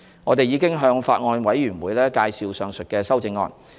我們已向法案委員會介紹上述修正案。